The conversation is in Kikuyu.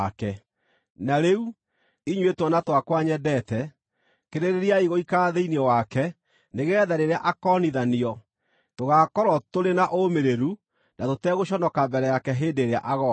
Na rĩu, inyuĩ twana twakwa nyendete, kĩrĩrĩriai gũikara thĩinĩ wake nĩgeetha rĩrĩa akoonithanio tũgaakorwo tũrĩ na ũũmĩrĩru na tũtegũconoka mbere yake hĩndĩ ĩrĩa agooka.